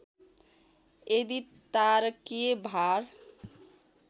यदि तारकीय भार